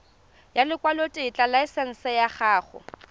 ya lekwalotetla laesense ya go